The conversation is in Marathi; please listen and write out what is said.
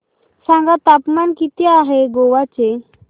सांगा तापमान किती आहे आज गोवा चे